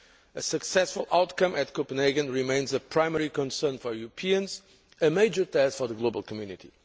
A successful outcome at Copenhagen remains a primary concern for Europeans and a major task for the global community.